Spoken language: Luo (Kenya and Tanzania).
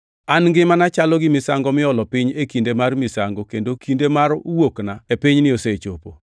An ngimana chalo gi misango miolo piny e kinde mar misango kendo kinde mar wuokna e pinyni osechopo.